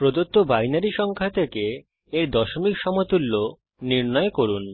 প্রদত্ত বাইনারি সংখ্যা থেকে এর দশমিক সমতুল্য নির্ণয় করুন